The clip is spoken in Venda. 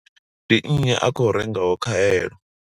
Ndi nnyi a khou rengaho khaelo?